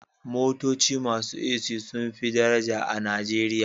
Motoci masu AC sun fi daraja a Najeriya